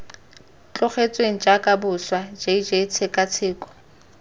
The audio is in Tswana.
tlogetsweng jaaka boswa jj tshekatsheko